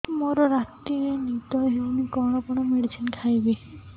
ମୋର ରାତିରେ ନିଦ ହଉନି କଣ କଣ ମେଡିସିନ ଖାଇବି